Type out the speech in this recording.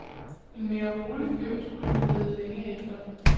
En mere rolig fyr skulle man lede længe efter.